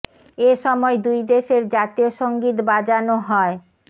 এ সময় দুই দেশের জাতীয় সংগীত বাজানো হয়